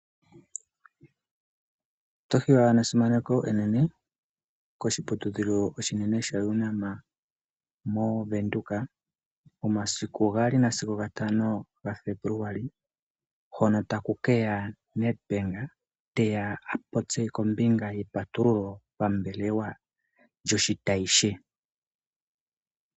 Oto hiwa nesimaneko enene koshiputudhilo oshinene sha Unam mo Venduka. Momasiku gaali nasigo gatano ga Febuluali hono taku keya Nedbank teya a popye kombinga ye patululo pambelewa lyoshitayi she.